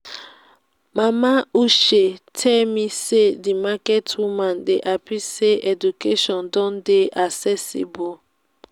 mama uche tell me say the market women dey happy say education don dey accessible